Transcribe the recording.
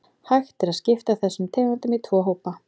Hægt er að skipta þessum tegundum í tvo hópa.